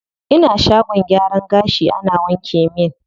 Ina shagon gyaran gashi ana wanke min kai.